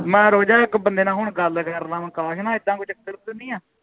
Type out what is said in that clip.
ਮੈਂ ਰੁਕ ਜਾਏ ਇੱਕ ਬੰਦੇ ਨਾਲ ਹੁਣ ਗੱਲ ਕਰ ਲਵਾਂ ਅਕਾਸ਼ ਨਾਲ ਏਦਾਂ ਕੋਈ ਚੱਕਰ ਤਾ ਨਹੀਂ ਹੈ